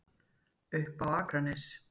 Upp á Akranes.